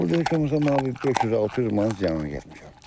Mən burda heç olmasa bir 500-600 manat ziyan getmişəm.